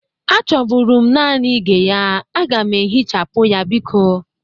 Achọbụrụ m nanị ige ya. Aga m ehichapụ ya biko.